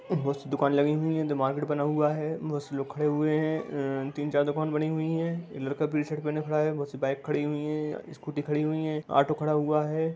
बहुत सी दुकान लगी हुई हैं। इधर मार्केट बना हुआ है बहुत से लोग खड़े हुए हैं अ तीन चार दुकान बनी हुई हैं लड़का पीली शर्ट पहने खड़ा है बहुत सी बाइक खड़ी हुई हैं स्कूटी खड़ी हुई है ऑटो खड़ा हुआ है।